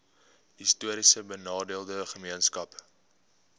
histories benadeelde gemeenskappe